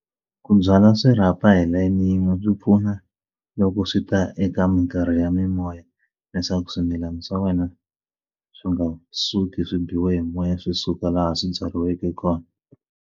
Ku byala swirhapa hi layeni yin'we byi pfuna loko swi ta eka minkarhi ya mimoya leswaku swimilana swa wena swi nga suki swi biwa hi moya swi suka laha swi byariweke kona.